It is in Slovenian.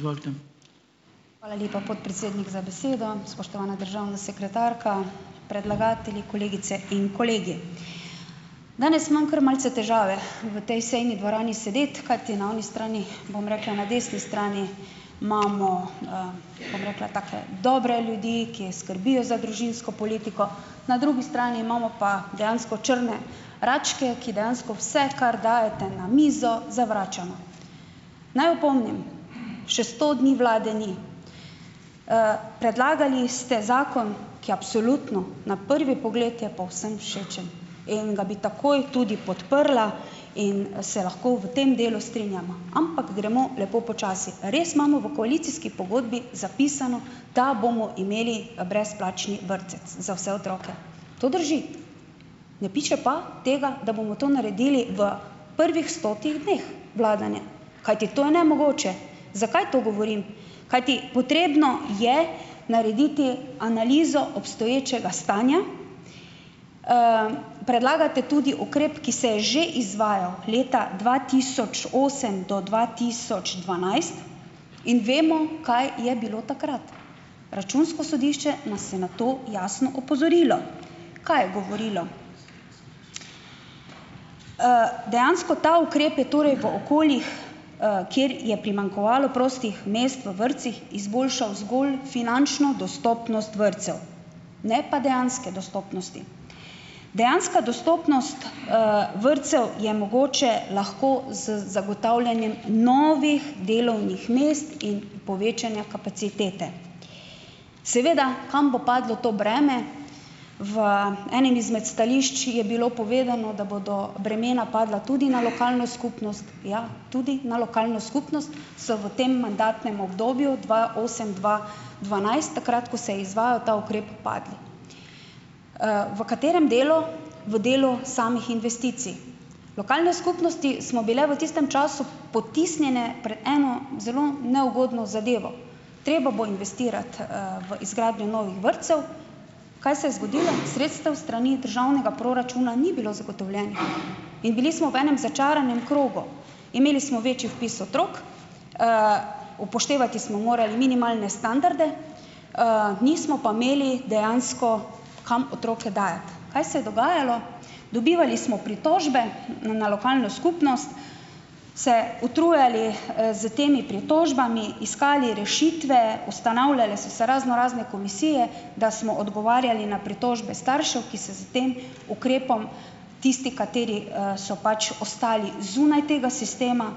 Hvala lepa, podpredsednik, za besedo. Spoštovana državna sekretarka, predlagatelji, kolegice in kolegi! Danes imam kar malce težave v tej sejni dvorani sedeti, kajti na oni strani, bom rekla, na desni strani imamo, bom rekla, take dobre ljudi, ki skrbijo za družinsko politiko, na drugi strani imamo pa dejansko črne račke, ki dejansko vse, kar dajete na mizo, zavračamo. Naj opomnim, še sto dni vlade ni. Predlagali ste zakon, ki absolutno na prvi pogled je povsem všečen in ga bi takoj tudi podprla in, se lahko v tem delu strinjava, ampak gremo lepo počasi. Res imamo v koalicijski pogodbi zapisano, da bomo imeli, brezplačni vrtec za vse otroke. To drži, ne piše pa tega, da bomo to naredili v prvih stotih dneh vladanja, kajti to je nemogoče. Zakaj to govorim? Kajti potrebno je narediti analizo obstoječega stanja. Predlagate tudi ukrep, ki se je že izvajal leta dva tisoč osem do dva tisoč dvanajst in vemo, kaj je bilo takrat. Računsko sodišče nas je na to jasno opozorilo. Kaj je govorilo? Dejansko ta ukrep je torej v okoljih, kjer je primanjkovalo prostih mest v vrtcih, izboljšal zgolj finančno dostopnost vrtcev, ne pa dejanske dostopnosti. Dejanska dostopnost, vrtcev je mogoča lahko z zagotavljanjem novih delovnih mest in povečanjem kapacitete. Seveda, kam bo padlo to breme? V enem izmed stališč je bilo povedano, da bodo bremena padla tudi na lokalno skupnost, ja, tudi na lokalno skupnost so v tem mandatnem obdobju dva osem-dva dvanajst, takrat, ko se izvajal ta ukrep, padla. V katerem delu? V delu samih investicij. Lokalne skupnosti smo bile v tistem času potisnjene pred eno zelo neugodno zadevo, treba bo investirati, v izgradnjo novih vrtcev. Kaj se je zgodilo? Sredstev s strani državnega proračuna ni bilo zagotovljenih in bili smo v enem začaranem krogu. Imeli smo večji vpis otrok, upoštevati smo morali minimalne standarde, nismo pa imeli dejansko kam otroke dajati. Kaj se je dogajalo? Dobivali smo pritožbe, na lokalno skupnost, se utrujali, s temi pritožbami, iskali rešitve, ustanavljale so se raznorazne komisije, da smo odgovarjali na pritožbe staršev, ki se s tem ukrepom, tisti, kateri, so pač ostali zunaj tega sistema,